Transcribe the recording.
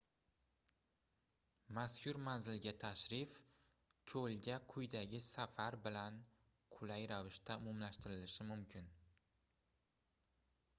mazkur manzilga tashrif koʻlga qayiqdagi safar bilan qulay ravishda umumlashtirilishi mumkin